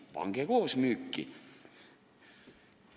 Pange see maa koos varemetega müüki!